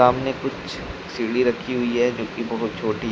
सामने कुछ सीढ़ी रखी हुई है जोकि बहोत छोटी --